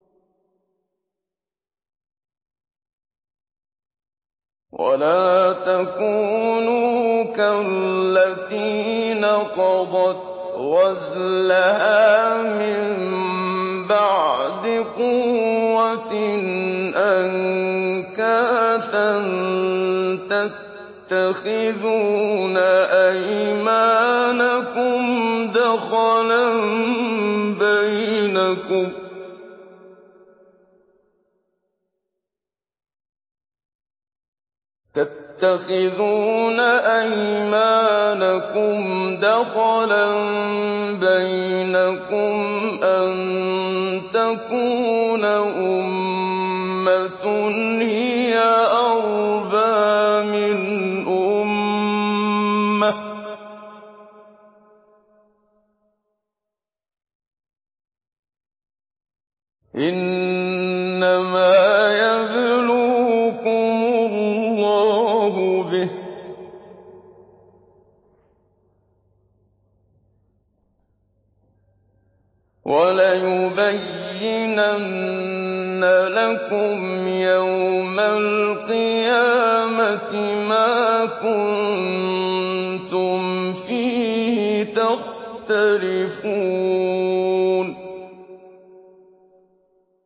وَلَا تَكُونُوا كَالَّتِي نَقَضَتْ غَزْلَهَا مِن بَعْدِ قُوَّةٍ أَنكَاثًا تَتَّخِذُونَ أَيْمَانَكُمْ دَخَلًا بَيْنَكُمْ أَن تَكُونَ أُمَّةٌ هِيَ أَرْبَىٰ مِنْ أُمَّةٍ ۚ إِنَّمَا يَبْلُوكُمُ اللَّهُ بِهِ ۚ وَلَيُبَيِّنَنَّ لَكُمْ يَوْمَ الْقِيَامَةِ مَا كُنتُمْ فِيهِ تَخْتَلِفُونَ